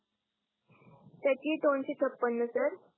त्याची ही दोनसे छप्पन सर